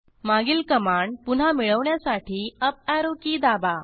मागील कमांड पुन्हा मिळवण्यासाठी अप ऍरो की दाबा